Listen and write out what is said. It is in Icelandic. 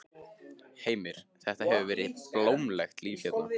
Heimir: Þetta hefur verið blómlegt líf hérna?